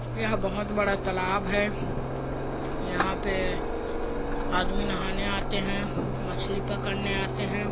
यह बहोत बड़ा तालाब है यहाँ पे आदमी नहाने आते है मछली पकड़ने आते है।